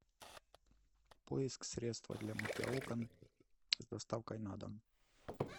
поиск средства для мытья окон с доставкой на дом